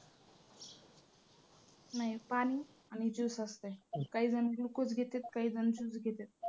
नाही पाणी आणि juice असतंय. काहीजण glucose घेत्यात. काहीजण juice घेत्यात.